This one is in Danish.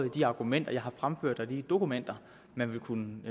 de argumenter jeg fremførte og i de dokumenter man vil kunne